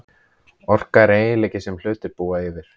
Orka er eiginleiki sem hlutir búa yfir.